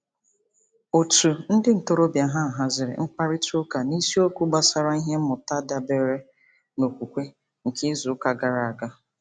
Òtù ndị ntorobịa ha haziri mkparịtaụka n'isiokwu gbasara ihe mmụta dabeere n'okwukwe nke izuụka gara aga.